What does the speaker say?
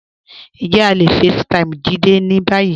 Njẹ̀ à le facetime Jídé ní báyì?